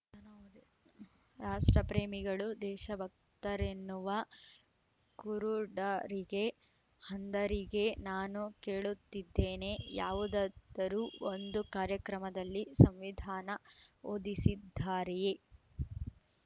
ರಾಷ್ಟ್ರ ಪ್ರೇಮಿಗಳು ದೇಶಭಕ್ತರೆನ್ನುವ ಕುರುಡರಿಗೆ ಅಂಧರಿಗೆ ನಾನು ಕೇಳುತ್ತಿದ್ದೇನೆ ಯಾವುದಾದರು ಒಂದು ಕಾರ್ಯಕ್ರಮದಲ್ಲಿ ಸಂವಿಧಾನ ಓದಿಸಿದ್ದಾರೆಯೇ